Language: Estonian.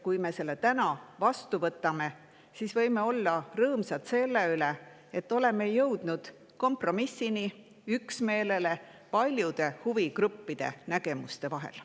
Kui me selle täna vastu võtame, siis võime olla rõõmsad, et oleme jõudnud kompromissini, üksmeelele paljude huvigruppide nägemuste vahel.